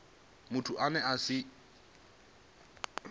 muthu ane a si vhe